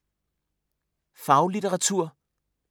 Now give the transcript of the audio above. Faglitteratur